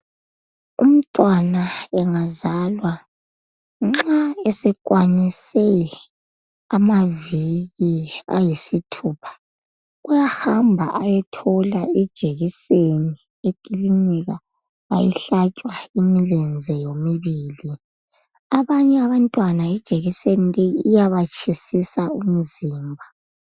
Nxa umntwana engazalwa, nxa esekwanise kwanise amaviki ayisithupha uyahamba ayethola ijekiseni ekilinika ayihlatshwa imilenze yomibili. Abanye abantwana ijekiseni leyi iyabatshisisa umzimba.